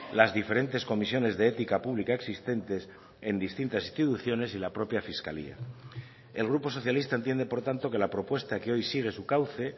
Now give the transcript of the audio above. las diferentes comisiones de ética pública existentes en distintas instituciones y la propia fiscalía el grupo socialista entiende por tanto que la propuesta que hoy sigue su cauce